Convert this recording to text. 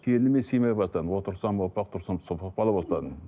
келініме сыймай бастадым отырсам опақ тұрсам сопақ бола бастадым